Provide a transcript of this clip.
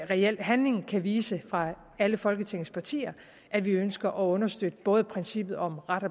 reel handling kan vise fra alle folketingets partier at vi ønsker at understøtte både princippet om ret